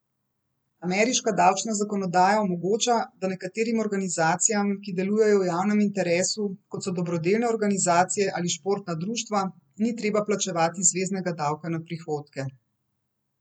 Ameriška davčna zakonodaja omogoča, da nekaterim organizacijam, ki delujejo v javnem interesu, kot so dobrodelne organizacije ali športna društva, ni treba plačevati zveznega davka na prihodke.